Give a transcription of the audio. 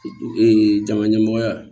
jama ɲɛmɔgɔya